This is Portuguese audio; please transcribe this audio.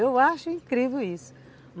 Eu acho incrível isso.